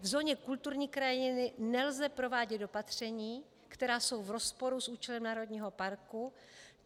V zóně kulturní krajiny nelze provádět opatření, která jsou v rozporu s účelem národního parku.